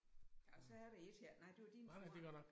Og så er det et her nej det var din tur